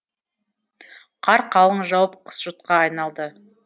қар қалың жауып қыс жұтқа айналды